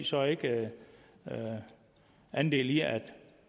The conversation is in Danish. så ikke andel i at